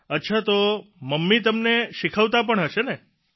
અચ્છા તો મમ્મી તમને શીખવતા પણ હશે ને